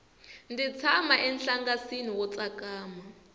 ndzi tshama enhlangasini wo tsakama